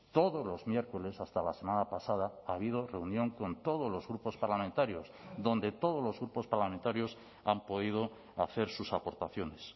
todos los miércoles hasta la semana pasada ha habido reunión con todos los grupos parlamentarios donde todos los grupos parlamentarios han podido hacer sus aportaciones